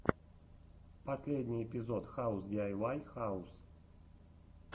последний эпизод хаус диайвай хаус